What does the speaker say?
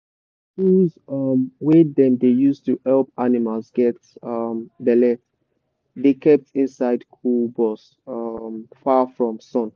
tools um wey dem dey use to help animals get um belle dey kept inside cool box um far from sun.